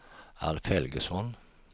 Alf Helgesson